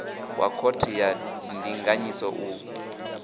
wa khothe ya ndinganyiso u